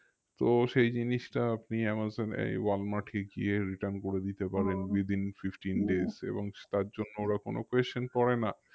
তো সেই জিনিসটা আপনি আমাজন এই ওয়ালমার্টে গিয়ে return করে দিতে within fifteen এবং তার জন্য ওরা কোনো করেনা